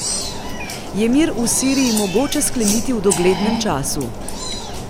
Je mir v Siriji mogoče skleniti v doglednem času?